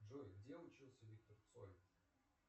джой где учился виктор цой